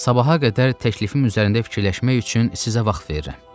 Sabaha qədər təklifim üzərində fikirləşmək üçün sizə vaxt verirəm.